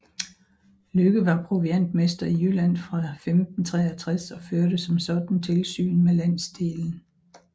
Lykke var proviantmester i Jylland fra 1563 og førte som sådan tilsyn med landsdelen